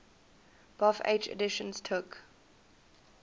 bofh editions took